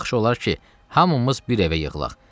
Yaxşı olar ki, hamımız bir evə yığılaq.